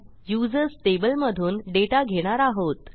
users टेबलमधून data घेणार आहोत